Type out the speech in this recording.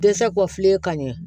Dɛsɛ kɔfile ka ɲɛ